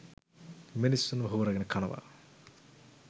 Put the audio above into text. මිනිස්සුන්ව හූරගෙන කනව